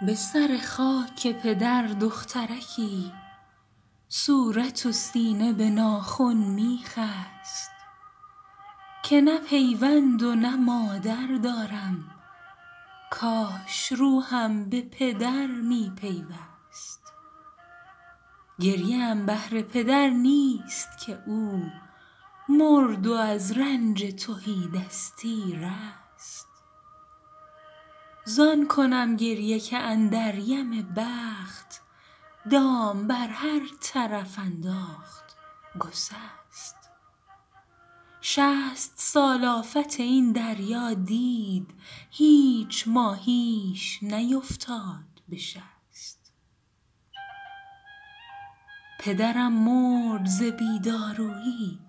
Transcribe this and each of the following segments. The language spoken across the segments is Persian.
به سر خاک پدر دخترکی صورت و سینه به ناخن می خست که نه پیوند و نه مادر دارم کاش روحم به پدر می پیوست گریه ام بهر پدر نیست که او مرد و از رنج تهی دستی رست زان کنم گریه که اندر یم بخت دام بر هر طرف انداخت گسست شصت سال آفت این دریا دید هیچ ماهیش نیفتاد به شست پدرم مرد ز بی دارویی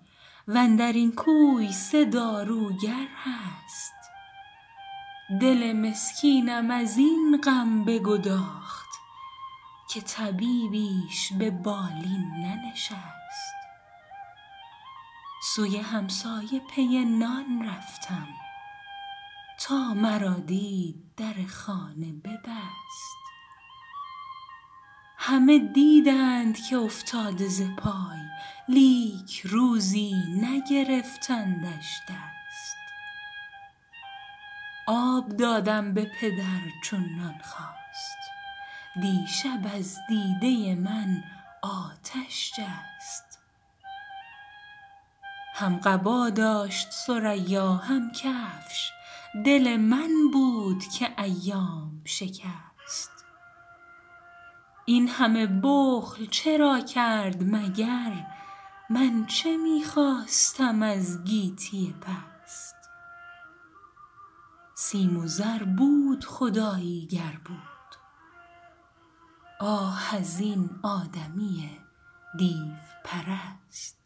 وندرین کوی سه داروگر هست دل مسکینم از این غم بگداخت که طبیبیش ببالین ننشست سوی همسایه پی نان رفتم تا مرا دید در خانه ببست همه دیدند که افتاده ز پای لیک روزی نگرفتندش دست آب دادم به پدر چون نان خواست دیشب از دیده من آتش جست هم قبا داشت ثریا هم کفش دل من بود که ایام شکست این همه بخل چرا کرد مگر من چه می خواستم از گیتی پست سیم و زر بود خدایی گر بود آه از این آدمی دیوپرست